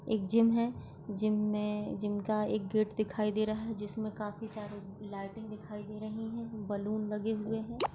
एक जिम है जिम में जिम का एक गेट दिखाई दे रहा है जिसमे काफी सारे लाइटिंग दिखाई दे रही है बलून लगे हुए है।